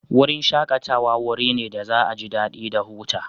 Wurin shakatawa wuri ne da za'a ji dadi da huta.